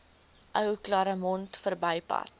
ou claremont verbypad